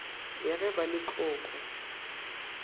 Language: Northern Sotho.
ya ge ba le tlokwe